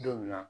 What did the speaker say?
Don min na